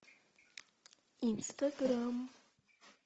инстаграм